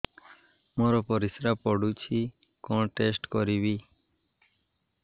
ମୋର ପରିସ୍ରା ପୋଡୁଛି କଣ ଟେଷ୍ଟ କରିବି